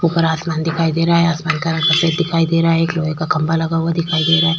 ऊपर आसमान दिखाई दे रहा है। आसमान का रंग सफेद दिखाई दे रहा है। एक लोहे का खंभा लगा हुआ दिखाई दे रहा है।